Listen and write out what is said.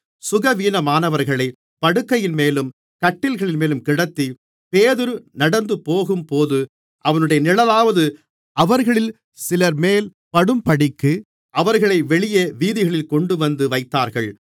சுகவீனமானவர்களைப் படுக்கைகளின்மேலும் கட்டில்களின்மேலும் கிடத்தி பேதுரு நடந்துபோகும்போது அவனுடைய நிழலாவது அவர்களில் சிலர்மேல் படும்படிக்கு அவர்களை வெளியே வீதிகளில் கொண்டுவந்து வைத்தார்கள்